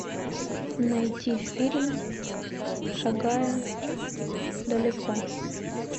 найти фильм шагая далеко